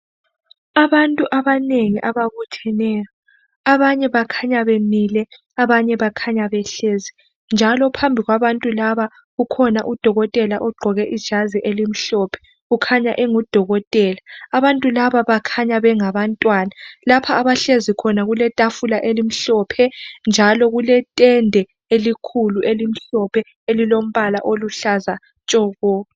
Abantu abanengi ababutheneyo abanye bakhanya bemile abanye bakhanya behlezi njalo phambi kwabantu laba kukhona udokotela ogqoke ijazi elimhlophe kukhanya engu dokotela abantu laba bakhanya bengabantwana lapha abahlezi khona kuletafula elimhlophe njalo kuletende elikhulu elimhlophe elilombala oluhlaza tshoko